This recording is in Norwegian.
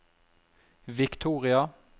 Victoria